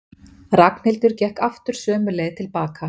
Ragnhildur gekk aftur sömu leið tilbaka.